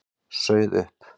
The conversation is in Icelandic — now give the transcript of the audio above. Sauð upp.